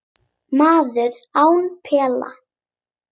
Maður án pela